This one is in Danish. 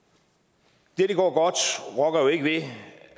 det at det går godt rokker jo ikke ved